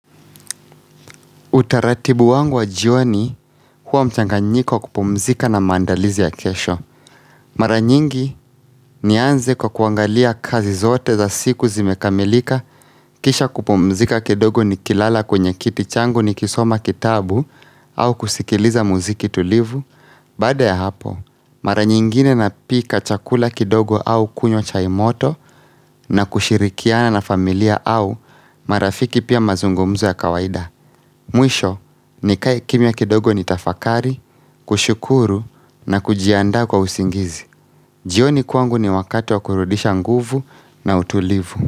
Utaratibu wangu wa jioni huwa mchanganyiko wa kupumzika na maandalizi ya kesho. Mara nyingi nianze kwa kuangalia kazi zote za siku zimekamilika. Kisha kupumzika kidogo nikilala kwenye kiti changu nikisoma kitabu au kusikiliza muziki tulivu. Baada ya hapo, mara nyingine napika chakula kidogo au kunywa chai moto na kushirikiana na familia au marafiki pia mazungumzo ya kawaida Mwisho, nikae kimya kidogo nitafakari, kushukuru na kujiandaa kwa usingizi. Jioni kwangu ni wakati wa kurudisha nguvu na utulivu.